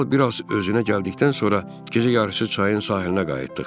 Kral biraz özünə gəldikdən sonra gecə yarısı çayın sahilinə qayıtdıq.